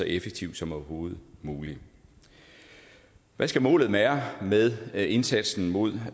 effektiv som overhovedet muligt hvad skal målet være med indsatsen mod